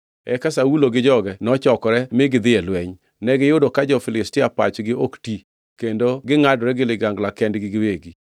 Eka Saulo gi joge nochokore mi gidhi e lweny. Negiyudo ka jo-Filistia pachgi ok ti, kendo gingʼadore gi ligangla kendgi giwegi.